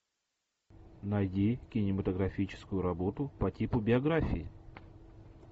найди кинематографическую работу по типу биографии